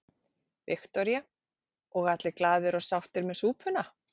Viktoría: Og allir glaðir og sáttir með súpuna?